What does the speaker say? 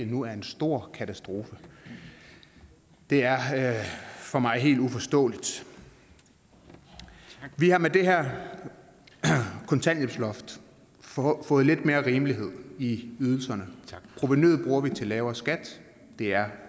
nu er en stor katastrofe det er for mig helt uforståeligt vi har med det her kontanthjælpsloft fået lidt mere rimelighed i ydelserne provenuet bruger vi til lavere skat det er